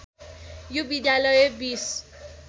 यो विद्यालय बिस